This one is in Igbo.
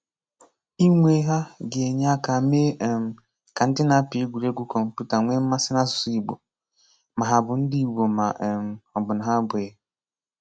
Ịnwe ha ga-enye aka mee um ka ndị na-apị egwuregwu kọmputa nwee mmasị n’asụsụ Ìgbò, ma ha bụ ndị Ìgbò ma um ọ̀ bụ na ha abụghị.